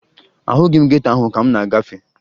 Ahụghị m geto ahụ ka m na-agafe